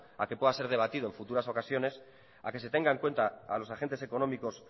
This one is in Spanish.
a que pueda ser debatido en futuras ocasiones a que se tenga en cuenta a los agentes económicos